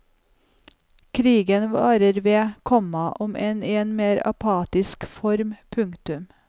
Krigen varer ved, komma om enn i en mer apatisk form. punktum